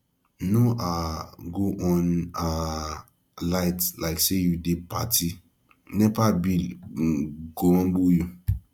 no um go on um light like say you dey party nepa bill um go humble you